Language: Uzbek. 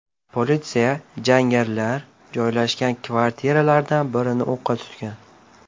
Politsiya jangarilar joylashgan kvartiralardan birini o‘qqa tutgan.